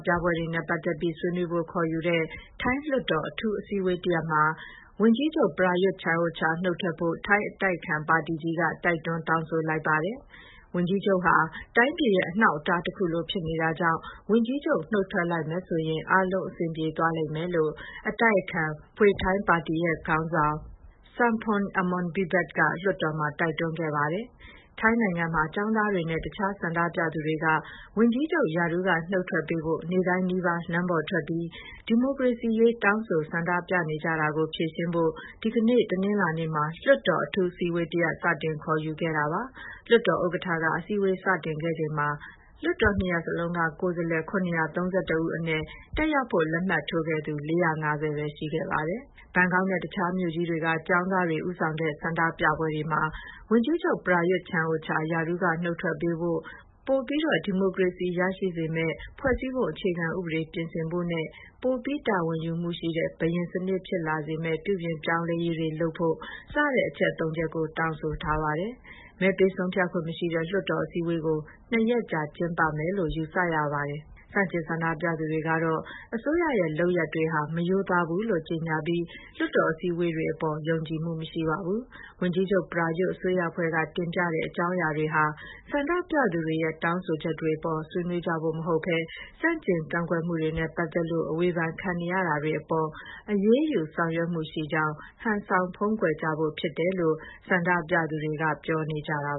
ပြပွဲတွေနဲ့ ပတ်သက်ပြီးဆွေးနွေးဖို့ ခေါ်ယူတဲ့ ထိုင်းလွှတ်တော်အထူးအစည်းအဝေးတရပ်မှာ ဝန်ကြီးချုပ် Prayuth Chan-ocha နုတ်ထွက်ဖို့ ထိုင်းအတိုက်အခံပါတီကြီးက တိုက်တွန်းတောင်းဆိုလိုက်ပါတယ်။ ဝန်ကြီးချုပ်ဟာ တိုင်းပြည်ရဲ့အနှောက်အတား တခုလို ဖြစ်နေတာကြောင့် ဝန်ကြီးချုပ်နုတ်ထွက်လိုက်မယ်ဆိုရင် အားလုံးအဆင်ပြေသွားလိမ့်မယ်လို့ အတိုက်အခံပါတီ Pheu Thai ပါတီရဲ့ ခေါင်းဆောင် Sompong Amornvivat က လွှတ်တော်တွင်းမှာ တိုက်တွန်းခဲ့ပါတယ်။ ထိုင်းနိုင်ငံမှာ ကျောင်းသားတွေနဲ့ တခြား ဆန္ဒပြသူတွေက ဝန်ကြီးချုပ် ရာထူးကနုတ်ထွက်ပေးဖို့ နေ့တိုင်းနီးပါး လမ်းပေါ်ထွက်ပြီး ဒီမိုကရေစီရေး ဆန္ဒပြတောင်းဆိုနေကြတာကို ဖြေရှင်းဖို့ ဒီကနေ့ တနင်္လာနေ့မှာ လွှတ်တော် အထူးအစည်းအဝေး စတင်ခေါ်ယူခဲ့ပါတာပါ။ လွှတ်တော်ဥက္ကဋ္ဌက အစည်းအဝေးစတင်ခဲ့ချိန်မှာ လွှတ်တော် နှစ်ရပ်လုံးက ကိုယ်စားလှယ် ၇၃၁ ဦးအနက် တက်ရောက်ဖို့ လက်မှတ်ထိုးခဲ့သူက ၄၅၀ ပဲ ရှိခဲ့ပါတယ်။ ဘန်ကောက်နဲ့ တခြားမြို့ကြီးတွေက ကျောင်းသားတွေ ဦးဆောင်တဲ့ ဆန္ဒပြပွဲတွေမှာ ဝန်ကြီးချုပ် ပရာရွတ် ချန်အိုချာ ရာထူးက နုတ်ထွက်ပေးဖို့၊ ပိုပြီး ဒီမိုကရေစီရှိစေမယ့် ဖွဲ့စည်းပုံအခြေခံဥပဒေပြင်ဆင်ဖို့နဲ့ ပိုပြီး တာဝန်ယူမှုရှိတဲ့ ဘုရင်စနစ်ဖြစ်လာစေမယ့် ပြုပြင်ပြောင်းလဲရေးတွေလုပ်ဖို့စတဲ့ အချက် ၃ ချက်ကို တောင်းဆိုထားပါတယ်။ မဲပေးဆုံးဖြတ်ခွင့်မရှိတဲ့ လွှတ်တော်အစည်းအဝေးကို ၂ ရက်ကြာ ကျင်းပမယ်လို့ ယူဆရပါတယ်။ ဆန့်ကျင်ဆန္ဒပြနေသူတွေကတော့ အစိုးရရဲ့ လုပ်ရပ်တွေဟာ မရိုးသားဘူးလို့ ကြေညာပြီး လွှတ်တော် အစည်းအဝေးတွေအပေါ် ယုံကြည်မှုမရှိပါဘူး။ ဝန်ကြီးချုပ်ပရာရွတ် အစိုးရအဖွဲ့က တင်ပြတဲ့အကြောင်းရာတွေဟာ ဆန္ဒပြသူတွေရဲ့ တောင်းဆိုချက်တွေအပေါ် ဆွေးနွေးကြဖို့ မဟုတ်ဘဲ ဆန့်ကျင်ကန့်ကွက်မှုတွေနဲ့ပတ်သက်လို့ အဝေဖန်ခံနေရတာတွေအပေါ် အရေးယူ ဆောင်ရွက်မှုရှိကြောင်း ဟန်ဆောင်ဖုံးကွယ်ကြဖို့ဖြစ်တယ်လို့ ဆန္ဒပြသူတွေက ပြောနေကြတာ